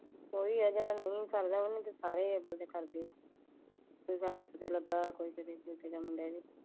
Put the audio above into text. ਓਇ ਆ ਜੇੜਾ ਨੀ ਸਰਦਾ ਓਨੇ ਚ ਸਾਰੇ